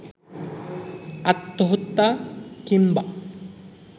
আত্মহত্যা কিংবা